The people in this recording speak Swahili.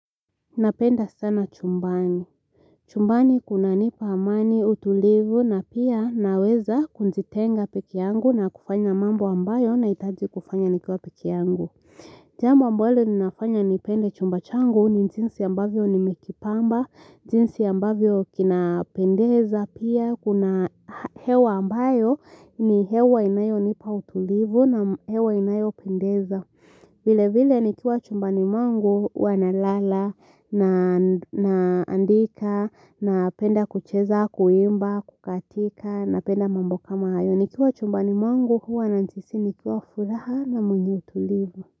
Napenda sana chumbani. Chumbani kunanipa amani utulivu na pia naweza kujitenga pekee yangu na kufanya mambo ambayo nahitaji kufanya nikiwa pekee yangu. Jambo ambalo ninafanya nipende chumba changu ni jinsi ambavyo ni nimekipamba, jinsi ambavyo kinapendeza pia kuna hewa ambayo ni hewa inayonipa utulivu na hewa inayopendeza. Vile vile nikiwa chumbani mwangu huwa nalala naandika napenda kucheza kuimba kukatika napenda mambo kama hayo nikiwa chumbani mwangu huwa najihisi nikiwa furaha na mwenye utulivu.